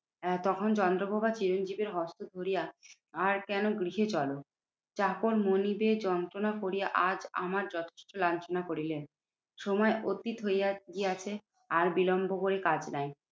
তখন চন্দ্রপ্রভা চিরঞ্জিতের হস্ত ধরিয়া, আর কেন? গৃহে চলো। চাকর মনিবের যন্ত্রনা করিয়া আজ আমার যথেষ্ট লাঞ্ছনা করিলেন। সময় অতীত হইয়া গিয়াছে আর বিলম্ব করে কাজ নাই।